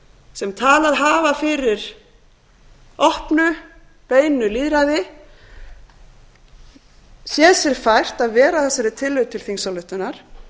sem talað hafa fyrir opnu beinu lýðræði séð sér fært að vera á þessari tillögu til þingsályktunar